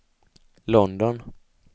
London